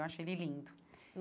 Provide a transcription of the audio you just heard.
Eu acho ele lindo.